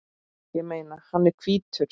Ég meina, hann er hvítur!